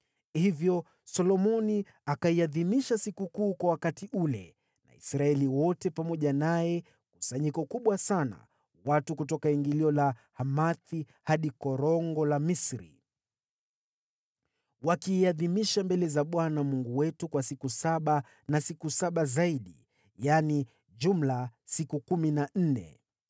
Hivyo Solomoni akaiadhimisha sikukuu kwa wakati ule, na Israeli wote pamoja naye. Walikuwa kusanyiko kubwa sana, watu kutoka Lebo-Hamathi hadi Kijito cha Misri. Wakaiadhimisha mbele za Bwana Mungu wetu kwa siku saba na siku saba zaidi, yaani, jumla siku kumi na nne.